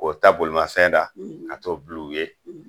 K'o ta bolimafɛn na ka t'o bil'u ye.